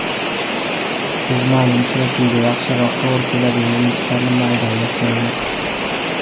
Biz ma’lum uchrashuvga yaxshiroq to‘g‘ri keladigan o‘yinchilarni maydonga tushiramiz.